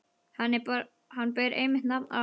Hann ber einmitt nafn afa míns.